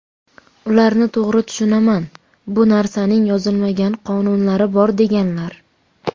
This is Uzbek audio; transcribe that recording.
Ularni to‘g‘ri tushunaman, bu narsaning yozilmagan qonunlari bor deganlar.